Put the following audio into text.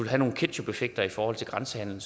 have nogle ketchupeffekter i forhold til grænsehandelen